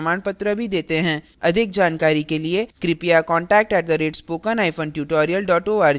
अधिक जानकारी के लिए कृपया contact @spokentutorial org पर लिखें